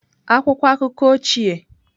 Akwụkwọ akụkọ ochie.